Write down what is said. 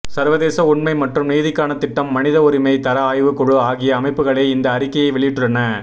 சர்வதேச உண்மை மற்றும் நீதிக்கான திட்டம் மனித உரிமை தர ஆய்வு குழு ஆகிய அமைப்புகளே இந்த அறிக்கையை வெளியிட்டுள்ளன